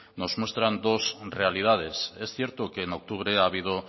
nos muestran dos realidades es cierto que en octubre ha habido